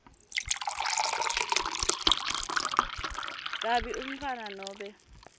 kabi umntfwana nobe